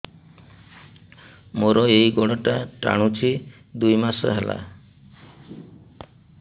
ମୋର ଏଇ ଗୋଡ଼ଟା ଟାଣୁଛି ଦୁଇ ମାସ ହେଲା